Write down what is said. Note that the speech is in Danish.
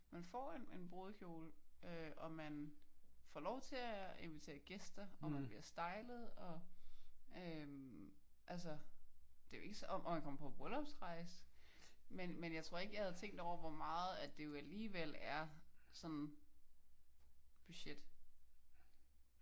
Man får en en brudekjole øh og man får lov til at invitere gæster og man bliver stylet og øh altså det er jo ikke om at komme på bryllupsrejse. Men men jeg tror ikke jeg havde tænkt over hvor meget det jo alligevel er budget